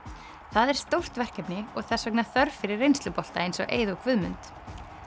það er stórt verkefni og þess vegna þörf fyrir reynslubolta eins og Eið og Guðmund